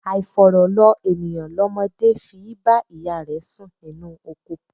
Àifọ̀rọ̀ lọ ènìyàn lọmọdé fi í bá ìyá rẹ̀ sùn ninú oko.